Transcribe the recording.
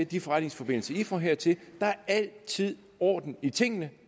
de forretningsforbindelser i får hertil altid er orden i tingene